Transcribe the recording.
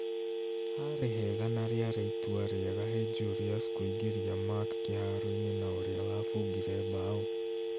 Harĩ hega , na rĩarĩ itua rĩega he Julius kũingĩria Mark kĩharo-inĩ na ũria wabungire mbaũ